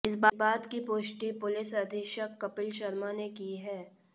इस बात की पुष्टि पुलिस अधीक्षक कपिल शर्मा ने की है